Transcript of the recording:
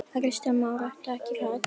Kristján Már: Ertu ekkert hrædd?